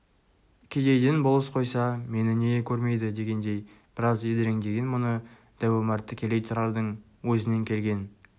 кедейден болыс қойса мені неге көрмейді дегендей біраз едіреңдеген мұны дәу омар тікелей тұрардың өзінен келген